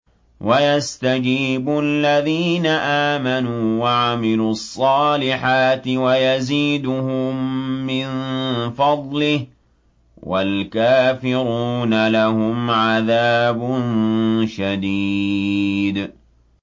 وَيَسْتَجِيبُ الَّذِينَ آمَنُوا وَعَمِلُوا الصَّالِحَاتِ وَيَزِيدُهُم مِّن فَضْلِهِ ۚ وَالْكَافِرُونَ لَهُمْ عَذَابٌ شَدِيدٌ